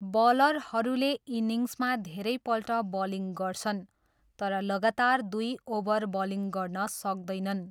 बलरहरूले इनिङ्समा धेरैपल्ट बलिङ गर्छन् तर लगातार दुई ओभर बलिङ गर्न सक्दैनन्।